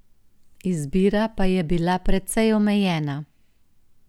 Izbira pa je bila precej omejena.